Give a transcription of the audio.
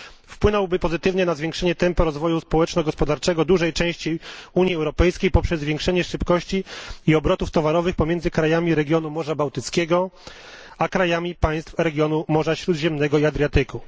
Wpłynąłby pozytywnie na zwiększenie tempa rozwoju społeczno gospodarczego dużej części Unii Europejskiej poprzez zwiększenie szybkości i obrotów towarowych pomiędzy krajami regionu Morza Bałtyckiego a krajami państw regionu Morza Śródziemnego i Adriatyku.